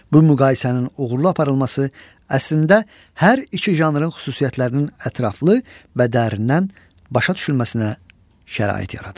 Bu müqayisənin uğurlu aparılması əslində hər iki janrın xüsusiyyətlərinin ətraflı və dərinindən başa düşülməsinə şərait yaradır.